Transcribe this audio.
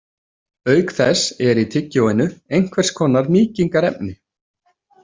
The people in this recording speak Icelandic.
Auk þess er í tyggjóinu einhvers konar mýkingarefni.